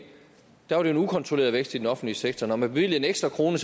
var det en ukontrolleret vækst i den offentlige sektor når man bevilgede en ekstra krone